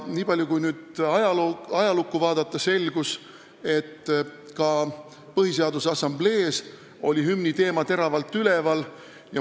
Kui ajalukku vaadata, selgub, et ka Põhiseaduse Assamblees oli hümni teema teravalt üleval.